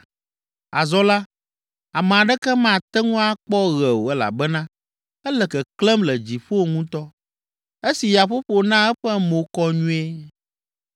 Azɔ la, ame aɖeke mate ŋu akpɔ ɣe o elabena ele keklẽm le dziƒo ŋutɔ, esi yaƒoƒo na eƒe mo kɔ nyuie.